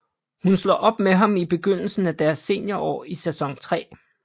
Hun slår op med ham i begyndelsen af deres seniorår i sæson tre